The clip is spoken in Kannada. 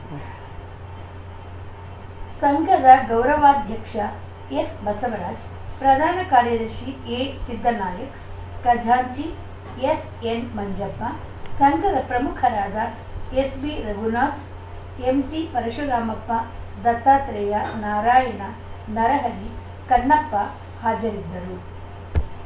ಸಂಘದ ಗೌರವಾಧ್ಯಕ್ಷ ಎಸ್‌ಬಸವರಾಜ್‌ ಪ್ರಧಾನ ಕಾರ್ಯದರ್ಶಿ ಎಸಿದ್ದನಾಯಕ್‌ ಖಜಾಂಚಿ ಎಸ್‌ಎನ್‌ ಮಂಜಪ್ಪ ಸಂಘದ ಪ್ರಮುಖರಾದ ಎಸ್‌ಬಿ ರಘುನಾಥ್‌ ಎಂಸಿ ಪರಶುರಾಮಪ್ಪ ದತ್ತಾತ್ರೇಯ ನಾರಾಯಣ ನರಹರಿ ಕನ್ನಪ್ಪ ಹಾಜರಿದ್ದರು